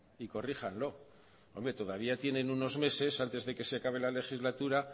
y corríjanlo hombre todavía tienen unos meses antes de que se acaba la legislatura